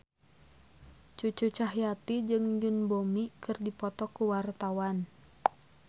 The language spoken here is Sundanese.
Cucu Cahyati jeung Yoon Bomi keur dipoto ku wartawan